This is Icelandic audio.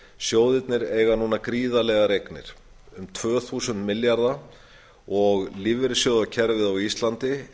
sjóðirnir eiga núna gríðarlegar eignir um tvö þúsund milljarða og lífeyrissjóðakerfið á íslandi